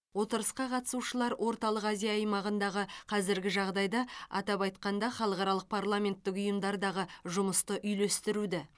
отырысқа қатысушылар орталық азия аймағындағы қазіргі жағдайды атап айтқанда халықаралық парламенттік ұйымдардағы жұмысты үйлестіруді